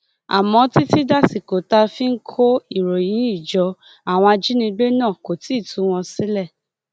àmọ títí dàsìkò tá a fi ń kó ìròyìn yìí jọ àwọn ajínigbé náà kò tí ì tú wọn sílẹ